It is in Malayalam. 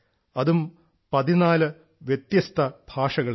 അതും 14 വ്യത്യസ്ത ഭാഷകളിൽ